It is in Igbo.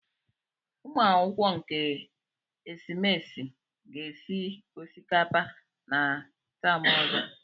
Ụmụakwụkwọ nke esimesi ga-esi osikapa na taam ozo.